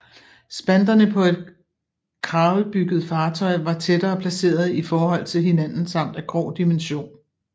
Spanterne på et kravelbygget fartøy var tættere placerede i forhold til hinanden samt af grov dimension